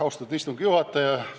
Austatud istungi juhataja!